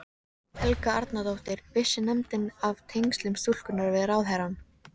Helga Arnardóttir: Vissi nefndin af tengslum stúlkunnar við ráðherrann?